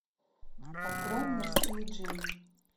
открой мне в стиле джейн